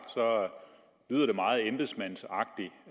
lyder meget embedsmandsagtigt